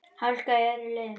Hálka á öðrum leiðum